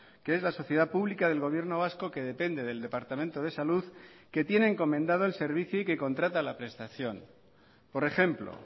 que es la sociedad pública del gobierno vasco que depende del departamento de salud que tiene encomendado el servicio y que contrata la prestación por ejemplo